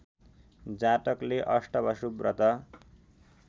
जातकले अष्टवसु व्रत